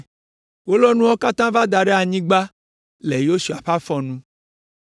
Wolɔ nuawo katã va da ɖe anyigba le Yosua ƒe afɔ nu.